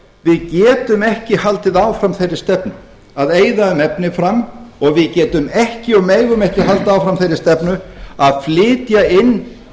við getum ekki haldið áfram þeirri stefnu að eyða um efni fram og við getum ekki og megum ekki halda áfram þeirri stefnu að flytja inn